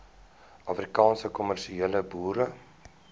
afrikaanse kommersiële boere